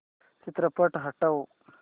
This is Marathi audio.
चित्रपट हटव